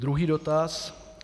Druhý dotaz.